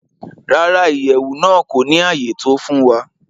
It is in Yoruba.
Rárá, Iyẹwu naa ko ni aye to fun wa.